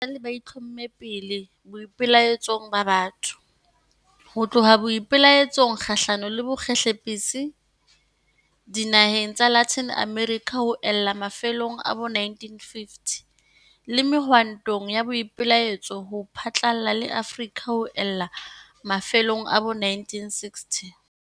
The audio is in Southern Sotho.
Batjha esale ba itlhomme pele boipelaetsong ba batho, ho tloha boipelaetsong kgahlano le bokgehlepetsi dinaheng tsa Latin America ho ella mafelong a bo 1950, le mehwantong ya boipelaetso ho phatlalla le Afrika ho ella mafelong a bo 1960.